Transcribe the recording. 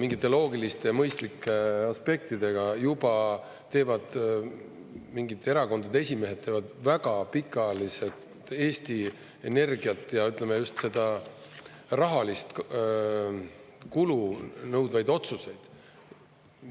mingite loogiliste ja mõistlike aspektidega, juba teevad mingid erakondade esimehed väga pikaajaliselt Eesti Energiat ja, ütleme, just seda rahalist kulu nõudvaid otsuseid.